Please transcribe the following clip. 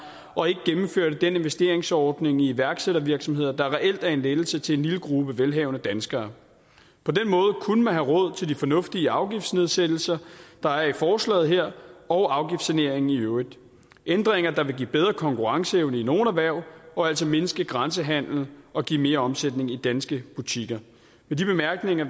og ikke gennemført den investeringsordning i iværksættervirksomheder der reelt er en lettelse til en lille gruppe velhavende danskere på den måde kunne man have råd til de fornuftige afgiftsnedsættelser der er i forslaget her og afgiftssaneringen i øvrigt ændringer der vil give en bedre konkurrenceevne i nogle erhverv og altså mindske grænsehandel og give mere omsætning i danske butikker med de bemærkninger